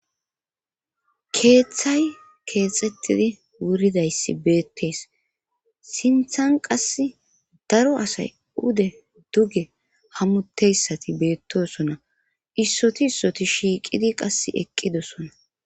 Keeththay keexettidi wuridayssi beettees sinthan qass daro asay ude duge hammutteyssati beettosona issoti issoti shiiqidi qas eqqidosona